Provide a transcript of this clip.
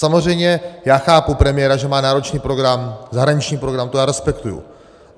Samozřejmě, já chápu premiéra, že má náročný program, zahraniční program, to já respektuji.